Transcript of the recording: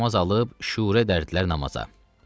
Və dəstəmaz alıb şüurə dərdlər namaza.